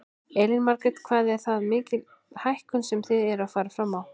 Elín Margrét: En hvað er það mikil hækkun sem þið eruð að fara fram á?